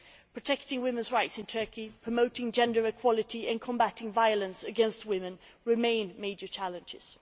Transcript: Protecting women's rights in Turkey, promoting gender equality and combating violence against women remain major challenges.